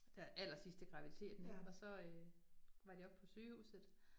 Der allersidst i graviditeten ik, og så øh var de oppe på sygehuset